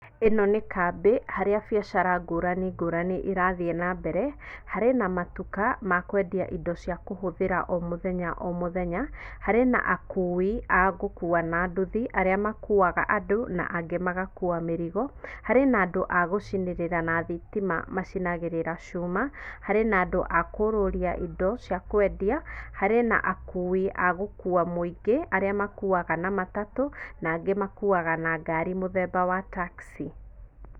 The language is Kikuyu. Ĩno nĩ kambĩ harĩa biacara ngũrani ngũrani irathiĩ nambere, harĩ na matuka ma kwendia indo cia kũhũthĩra o mũthenya omũthenya, harĩ na akui a gũkua na nduthi, arĩa makuaga andũ na angĩ magakua mĩrigo, harĩ na andũ a gũcinĩrĩra na thitima macinagĩrĩra cuma, harĩ na andũ a kũũrũria indo cia kwendia, harĩ na akui a gũkuua mũingĩ, arĩa makuuaga na matatũ, na angĩ makuuaga na ngari mũthemba wa taxi.